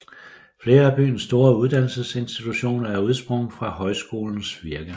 Flere af byens store uddannelsesinstitutioner er udsprunget fra højskolens virke